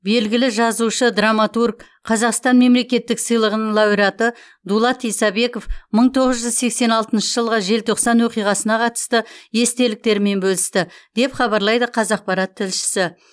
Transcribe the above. белгілі жазушы драматург қазақстан мемлекеттік сыйлығының лауреаты дулат исабеков мың тоғыз жүз сексен алтыншы жылғы желтоқсан оқиғасына қатысты естеліктерімен бөлісті деп хабарлайды қазақпарат тілшісі